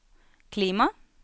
klima